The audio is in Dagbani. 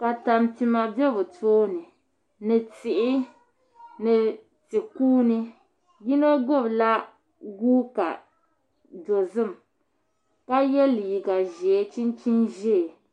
ka tampima bɛ bi tooni ni tihi ni ti kuuni yino gbubila guuka dozim ka yɛ liiga ʒiɛ ni chinchin ʒiɛ